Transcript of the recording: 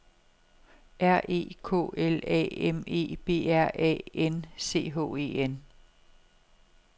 R E K L A M E B R A N C H E N